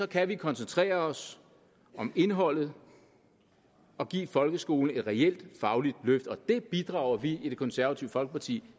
kan vi koncentrere os om indeholdet og give folkeskolen et reelt fagligt løft og det bidrager vi i det konservative folkeparti